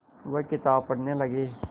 वह किताब पढ़ने लगे